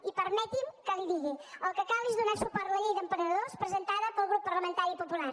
i permeti’m que li ho digui el que cal és donar suport a la llei d’emprenedors presentada pel grup parlamentari popular